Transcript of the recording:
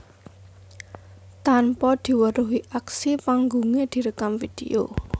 Tanpa diweruhi aksi panggungé direkam vidéo